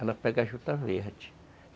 ela pega a juta verde.